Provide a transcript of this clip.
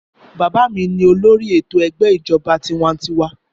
Bàbá mi ní olórí ètò ẹgbẹ́ ìjọba tiwa-ń-tiwa.